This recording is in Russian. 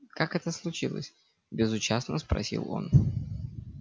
как это случилось безучастно спросил он